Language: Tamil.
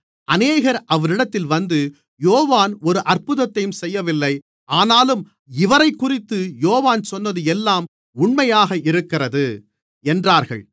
அநேகர் அவரிடத்தில் வந்து யோவான் ஒரு அற்புதத்தையும் செய்யவில்லை ஆனாலும் இவரைக்குறித்து யோவான் சொன்னது எல்லாம் உண்மையாக இருக்கிறது என்றார்கள்